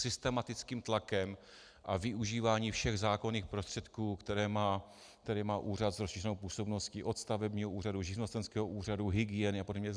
Systematickým tlakem a využíváním všech zákonných prostředků, které má úřad s rozšířenou působností od stavebního úřadu, živnostenského úřadu, hygieny a podobně.